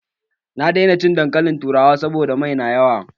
Na daina cin dankalin turawa saboda mai na mai yawa